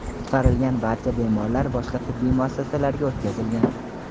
Qutqarilgan barcha bemorlar boshqa tibbiy muassasalarga o‘tkazilgan.